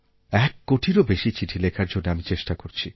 এক কোটিরও বেশি চিঠি লেখার জন্য আমি চেষ্টা করছি